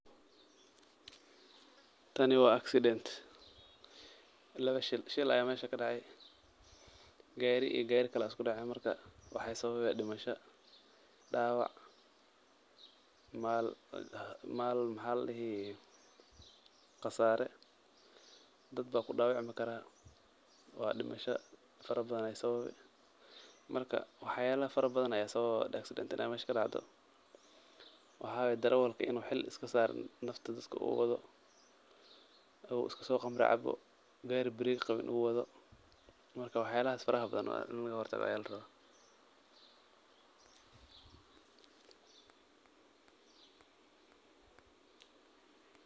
Tani waa accident. Laba shil, shil ayaa meesha kadhacay. Gaari iyo gaari kale ayaa isku dhaceen. Marka, waxaay sababi dhimisho, dhaawac, maal khasaaray, dad baa ku dhaawacmikaraa, waa dhimisho farabadan ay sababi. Marka, waxyaalaha farabadan ayaa sababa accident inaay meesha kadacdo; Waxa waay, dareewalka inuu hil iska saarin nafta dadak uu wedo, uu iska soo khamra cabo, gaari break qabin uu wado. Marka, wax yaalaha farahbadan in lagahortago ayaa laraba.